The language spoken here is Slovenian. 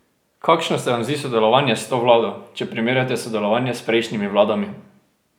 Kakšno se vam zdi sodelovanje s to vlado, če primerjate sodelovanje s prejšnjimi vladami?